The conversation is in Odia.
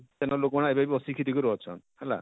ସେନର ଲୋକ ମାନେ ଏବେ ବି ବସିଟିକି କରି ଅଛନ,